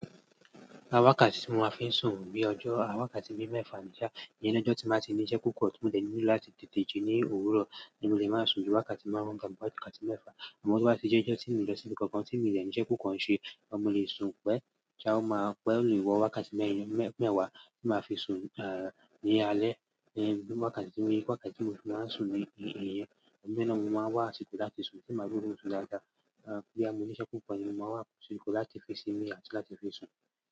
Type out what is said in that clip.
Wakàtí tí mo máa fi ń sùn bí ọjọ́ wakàtí bí mẹ́fà níjà, ìyẹn lọ́jọ́ tí mo bá ti ní iṣẹ́ púpọ̀ tí ó dẹ̀ mí nílò láti tètè jí ní òwúrọ̀, ni mo lè máa sùn bí awakàtí márùn-ún tàbí wakàtí mẹ́fà. Àmọ́ tí wọ́n bá ṣe jẹ́ ẹjọ́ tí mi lọ sí ibi kankan tí mo ní isẹ́ púpọ̀ ń ṣe, mo lè sùn pẹ́ kí a ó máa pẹ́, mo lè wọ awakàtí mẹ́wàá tí màá fi sùn, ah, ní alẹ́, ni awakàtí méjì, awakàtí mẹ́ta ni màá sùn ní ìhìn ìhìn yẹn. Inu e naa ni mo máa n wà asiko láti sùn ti n bá rí òórùn sun dáadáa. Ah, boya mọ́ níṣẹ́ púpọ̀ ni mo máa wà n wa asiko láti fi sími ati láti fi sùn.